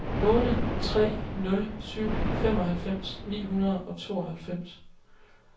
otte tre nul syv femoghalvfems ni hundrede og tooghalvfems